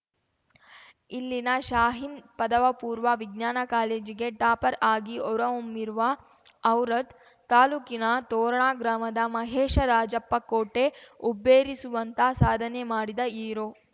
ಇಲ್ಲಿನ ಶಾಹೀನ್‌ ಪದವಪೂರ್ವ ವಿಜ್ಞಾನ ಕಾಲೇಜಿಗೆ ಟಾಪರ್‌ ಆಗಿ ಹೊರಹೊಮ್ಮಿರುವ ಔರಾದ್‌ ತಾಲೂಕಿನ ತೋರಣಾ ಗ್ರಾಮದ ಮಹೇಶ ರಾಜಪ್ಪ ಕೋಟೆ ಹುಬ್ಬೇರಿಸುವಂಥ ಸಾಧನೆ ಮಾಡಿದ ಹೀರೋ